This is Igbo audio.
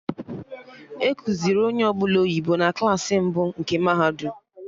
Ekuziri onye ọbụla oyibo na Klassị mbụ nke mahadum